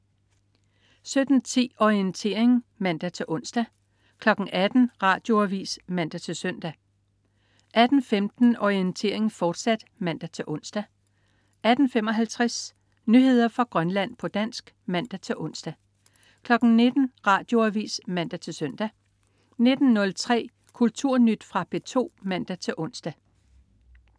17.10 Orientering (man-ons) 18.00 Radioavis (man-søn) 18.15 Orientering, fortsat (man-ons) 18.55 Nyheder fra Grønland, på dansk (man-ons) 19.00 Radioavis (man-søn) 19.03 Kulturnyt. Fra P2 (man-ons)